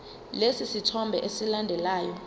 lesi sithombe esilandelayo